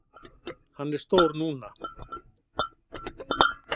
Hann er stór núna.